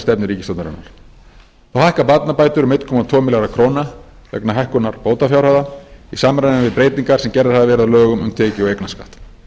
við stefnu ríkisstjórnarinnar þá hækka barnabætur um einn komma tvo milljarða króna vegna hækkunar bótafjárhæða í samræmi við breytingar sem gerðar hafa verið á lögum um tekjuskatt og eignarskatt